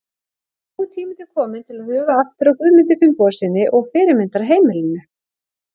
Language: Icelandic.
En nú er tími til kominn til að huga aftur að Guðmundi Finnbogasyni og fyrirmyndarheimilinu.